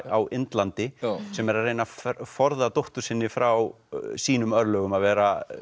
á Indlandi sem er að reyna að forða dóttur sinni frá sínum örlögum að vera